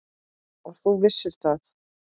Og þú vissir það.